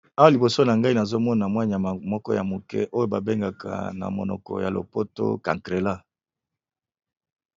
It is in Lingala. Awa liboso na ngai nazo mona mwa nyama moko ya moke, oyo ba bengaka na monoko ya lopoto cancrela.